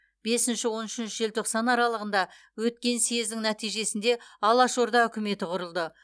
бесінші он үшінші желтоқсан аралығында өткен съездің нәтижесінде алашорда үкіметі құрылды